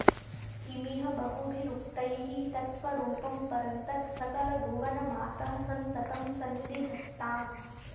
किमिह बहुभिरुक्तैः त्वत्त्वरूपं परं तत् सकलभुवनमातः सन्ततं सन्निधत्ताम्